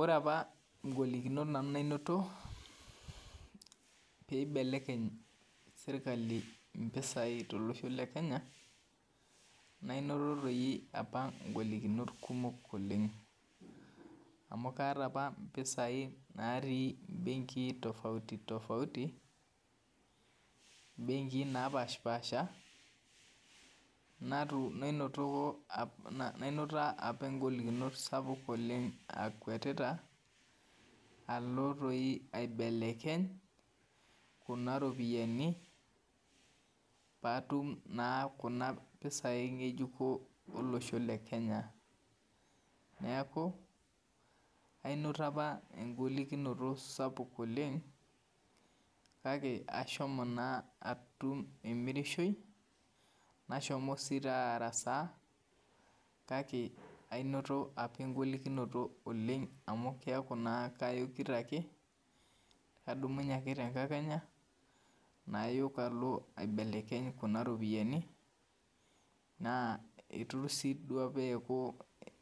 Ore apa ngolikinot nanu nainoto paibelekeny serkali mpisai tolosho le Kenya nainoto apa ngolikinot kumok oleng amu kaata apa mpisai natii mbenkii napashipaasha nainoto nainoto apa ngolikinot sapuk oleng akuetita alo aibelekeny kuna ropiyani paatum na kuna pisai ngejuko eseosho le kenya neaku ainoto apa engolikinoto sapuk oleng kake ashomo atum emirishoi nashomo si araasa kake ainoto apa engolikinoto oleng amu keaku kayokbkadumunye ake tenkakenya nayok alo aibelekeny kuna ropiyani na itu si apa eaku